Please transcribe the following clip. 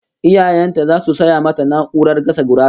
Iyayen ta zasu saya mata na'urar gasa gurasa